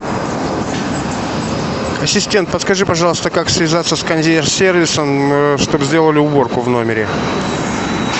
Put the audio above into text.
ассистент подскажи пожалуйста как связаться с консьерж сервисом чтобы сделали уборку в номере